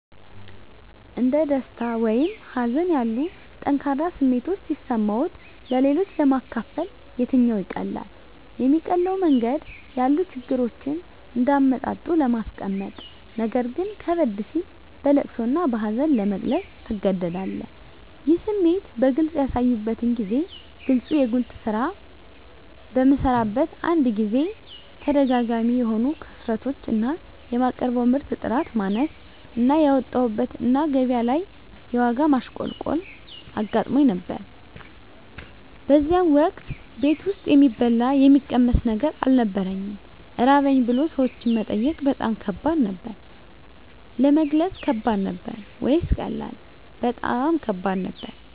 እንደ ደስታ ወይም ሀዘን ያሉ ጠንካራ ስሜቶች ሲሰማዎት-ለሌሎች ለማካፈል የትኛው ይቀላል? የሚቀለው መንገድ ያሉ ችግሮችን እንደ አመጣጡ ለማስቀመጥነገር ግን ከበድ ሲል በለቅሶ እና በሀዘን ለመግለፅ ትገደዳለህ ይህን ስሜት በግልጽ ያሳዩበትን ጊዜ ግለጹ የጉልት ስራ በምሰራበት አንድ ጊዜ ተደጋጋሚ የሆኑ ክስረቶች እና የማቀርበው ምርት ጥራት ማነስ እና ያወጣሁበት እና ገቢያ ላይ የዋጋ ማሽቆልቆል አጋጥሞኝ ነበር በዚያን ወቅት ቤት ውስጥ የሚበላ የሚቀመስ ነገር አልነበረኝም ራበኝ ብሎ ሰዎችን መጠየቅ በጣም ከባድ ነበር። ለመግለጽ ከባድ ነበር ወይስ ቀላል? በጣም ከባድ ነበር